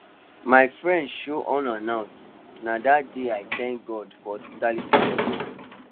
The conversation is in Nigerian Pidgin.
my friend show unannounced na that day i thank god for hospitality budget